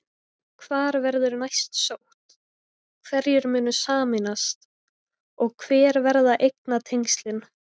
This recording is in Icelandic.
Hvar verður næst sótt, hverjir munu sameinast og hver verða eignatengslin?